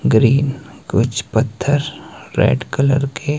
green कुछ पत्थर red colour के--